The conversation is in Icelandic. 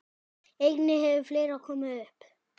Einnig hefur fleira komið upp.